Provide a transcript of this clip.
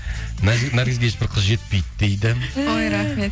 наргизге ешбір қыз жетпейді дейді ой рахмет